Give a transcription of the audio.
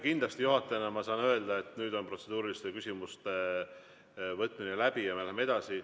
Kindlasti juhatajana ma saan öelda, et nüüd on protseduuriliste küsimuste võtmine läbi ja me läheme edasi.